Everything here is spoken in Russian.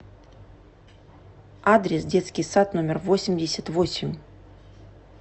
адрес детский сад номер восемьдесят восемь